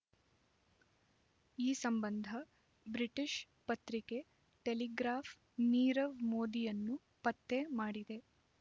ಈ ಸಂಬಂಧ ಬ್ರಿಟಿಷ್ ಪತ್ರಿಕೆ ಟೆಲಿಗ್ರಾಫ್ ನೀರವ್ ಮೋದಿಯನ್ನು ಪತ್ತೆ ಮಾಡಿದೆ